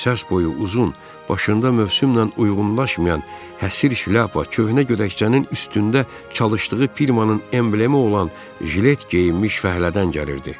Səs boyu uzun, başında mövsümlə uyğunlaşmayan həsiri şlyapa, köhnə gödəkçənin üstündə çalışdığı firmanın emblemi olan jilet geyinmiş fəhlədən gəlirdi.